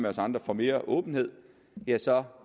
os andre for mere åbenhed ja så